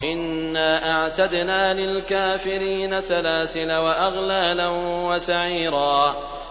إِنَّا أَعْتَدْنَا لِلْكَافِرِينَ سَلَاسِلَ وَأَغْلَالًا وَسَعِيرًا